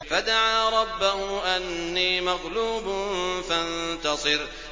فَدَعَا رَبَّهُ أَنِّي مَغْلُوبٌ فَانتَصِرْ